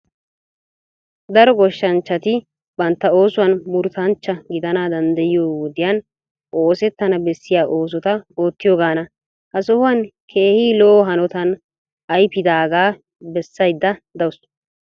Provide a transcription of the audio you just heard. Daro goshshanchchati bantta oosuwan murutanchcha gidana dandayiyoy wodiyan oosettana bessiya oosota oottiyoogana. Ha sohuwan keehi lo'o hanotan ayipidaagaa bessayidda dawusu.